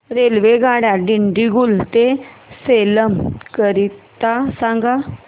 रेल्वेगाड्या दिंडीगुल ते सेलम करीता सांगा